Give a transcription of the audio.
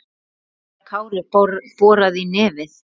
þegar Kári boraði í nefið.